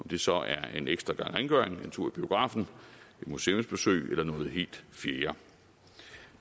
det så er en ekstra gang rengøring en tur i biografen et museumsbesøg eller noget helt fjerde